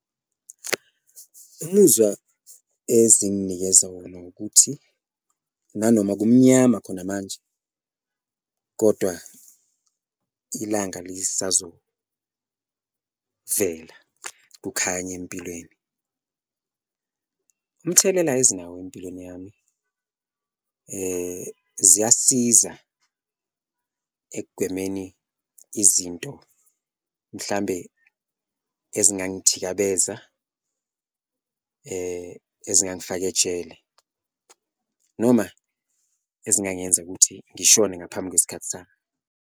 Umuzwa ezinginikeza wona ukuthi nanoma kumnyama khona manje kodwa ilanga ngisazovela, kukhanye empilweni, umthelela ezinawo empilweni yami ziyasiza ekugwemeni izinto mhlambe ezingangithikabeza, ezingangifaka ejele noma ezingangenza ukuthi ngishone ngaphambi kwesikhathi sami.